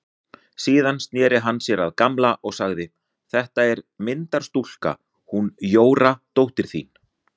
Síðan sneri hann sér að Gamla og sagði: Þetta er myndarstúlka, hún Jóra dóttir þín.